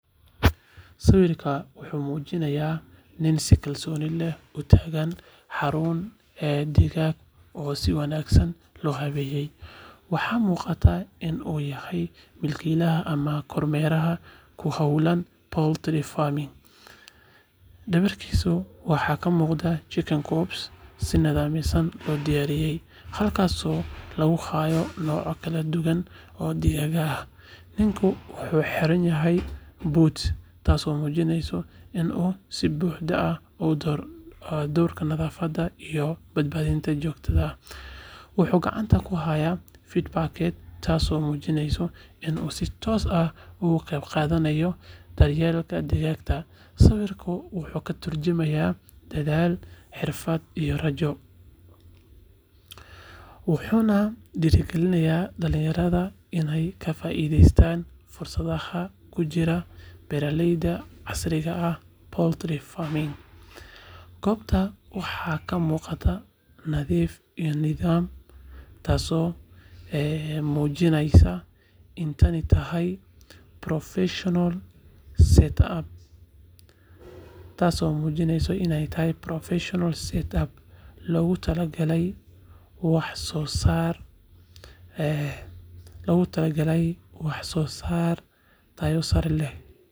Sawirkan wuxuu muujinayaa nin si kalsooni leh ugu taagan xarun digaag oo si wanaagsan loo habeeyay. Waxaa muuqata in uu yahay mulkiilaha ama kormeere ku hawlan poultry farming. Dhabarkiisa waxaa ka muuqda chicken coops si nidaamsan loo dhisay, halkaasoo lagu hayo noocyo kala duwan oo digaag ah. Ninku wuxuu xiran yahay boots, taasoo muujinaysa in uu si buuxda u dhowrayo nadaafadda iyo badbaadada goobta. Wuxuu gacanta ku hayaa feed bucket, taasoo muujinaysa in uu si toos ah uga qayb qaadanayo daryeelka digaagga. Sawirku wuxuu ka tarjumayaa dadaal, xirfad iyo rajo, wuxuuna dhiirrigelinayaa dhalinyarada inay ka faa’iidaystaan fursadaha ku jira beeraleyda casriga ah ee poultry. Goobta waxaa ka muuqda nadiif iyo nidaam, taasoo muujinaysa in tani tahay professional setup loogu talagalay wax-soo-saar tayo leh.